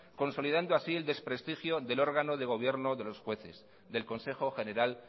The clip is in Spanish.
consolidando así el desprestigio del órgano de gobierno de los jueces del consejo general